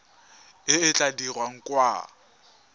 e e tla dirwang kwa